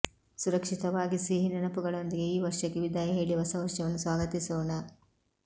ಸುರಕ್ಷಿತವಾಗಿ ಸಿಹಿನೆನಪುಗಳೊಂದಿಗೆ ಈ ವರ್ಷಕ್ಕೆ ವಿದಾಯ ಹೇಳಿ ಹೊಸ ವರ್ಷವನ್ನು ಸ್ವಾಗತಿಸೋಣ